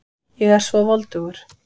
Ég er svo voldugur.